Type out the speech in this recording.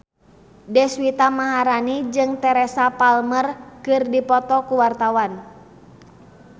Deswita Maharani jeung Teresa Palmer keur dipoto ku wartawan